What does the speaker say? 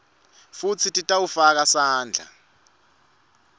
futsi titawufaka sandla